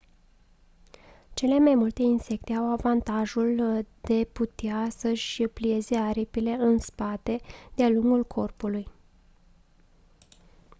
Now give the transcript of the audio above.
cele mai multe insecte au avantajul de putea să-și plieze aripile în spate de-a lungul corpului